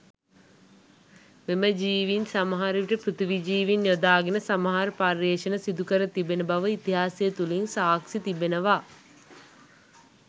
මෙම ජීවීන් සමහර විට පෘථිවි ජීවීන් යොදාගෙන සමහර පර්යේෂණ සිදුකර තිබෙන බව ඉතිහාසය තුළින් සාක්‍ෂි තිබෙනවා.